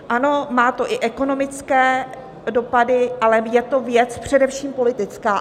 Ano, má to i ekonomické dopady, ale je to věc především politická.